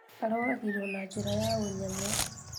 Aroragirwo na njĩra ya ũnyamũ